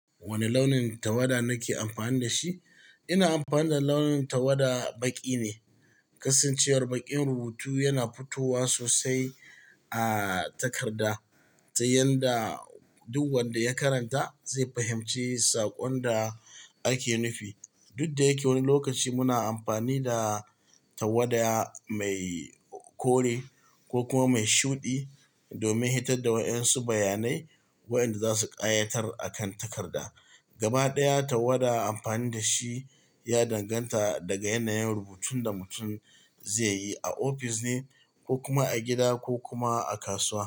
Wane launin tawada nake amfani da shi? Ina amfani da launin tawada baƙi ne. Kasancewar baƙin rubutu yana fitowa sosai a takarda, sai yanda duk wanda ya karanta zai fahimci saƙon da ake nufi. Dudda yake, wani lokaci muna amfani da tawada mai kore ko kuma mai shuɗi domin hitar da waɗansu bayanai waɗanda za su ƙayatar a kan takarda. Gaba ɗaya, tawada amfani da shi ya danganta daga yanayin rubutun da mutum zai yi a ofis ne ko kuma a gida ko kuma a kasuwa.